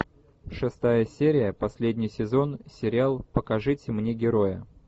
шестая серия последний сезон сериал покажите мне героя